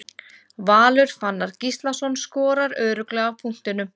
Valur Fannar Gíslason skorar örugglega af punktinum.